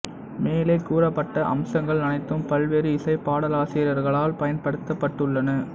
மேலே கூறப்பட்ட அம்சங்கள் அனைத்தும் பல்வேறு இசைப் பாடலாசிரியர்களால் பயன்படுத்தப்பட்டுள்ளன